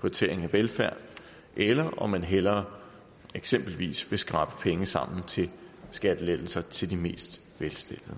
prioritering af velfærd eller om man hellere eksempelvis vil skrabe penge sammen til skattelettelser til de mest velstillede